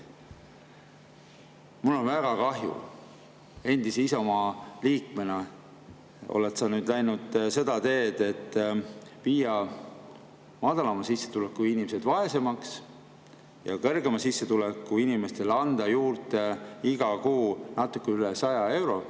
Mul on väga kahju, et endise Isamaa liikmena oled sa nüüd läinud seda teed, et muuta madalama sissetulekuga inimesed vaesemaks ja kõrgema sissetulekuga inimestele anda juurde iga kuu natuke üle 100 euro.